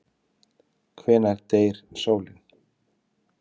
Hvenær deyr sólin?